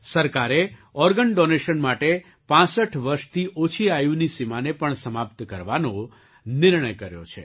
સરકારે organ donation નાટે ૬૫ વર્ષથી ઓછી આયુની સીમાને પણ સમાપ્ત કરવાનો નિર્ણય કર્યો છે